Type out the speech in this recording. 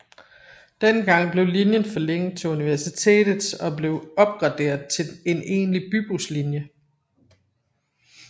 Denne gang blev linjen forlænget til Universitets og blev opgraderet til en egentlig bybuslinje